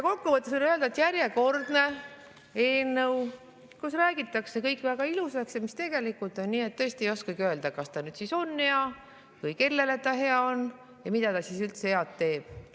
Kokku võttes võin öelda, et järjekordne eelnõu, kus räägitakse kõik väga ilusaks, aga tegelikult on nii, et tõesti ei oskagi öelda, kas ta siis on hea ja kellele ta hea on ja mida ta üldse head teeb.